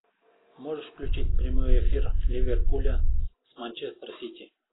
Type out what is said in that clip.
можешь включить прямой эфир ливерпуля с манчестер сити